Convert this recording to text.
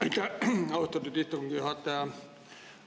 Aitäh, austatud istungi juhataja!